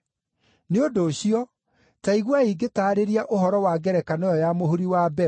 “Nĩ ũndũ ũcio, ta iguai ngĩtaarĩria ũhoro wa ngerekano ĩyo ya mũhuri wa mbeũ: